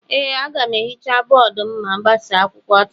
Ee, aga m ehicha bọọdụ ma m gbasaa akwụkwọ taa